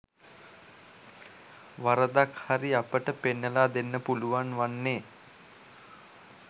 වරදක් හරි අපට පෙන්නලා දෙන්න පුළුන් වන්නේ